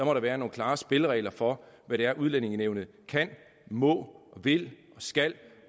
være nogle klare spilleregler for hvad det er udlændingenævnet kan må vil og skal